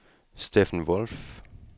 Steffen Wolff